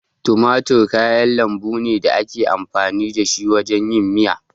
Tumatir kayan lambu ne da ake amfani da shi wajen yin miya.